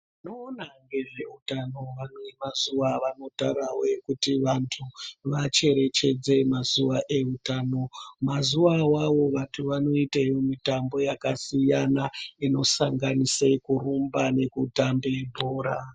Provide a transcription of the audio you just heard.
Vanoona ngezveutano vane mazuva avanotarawo kuti vantu vacherechedze mazuva outano, mazuva awawo vantu vanoita mutambo wakasiyana unosanganise kurumba nokutambe bhora.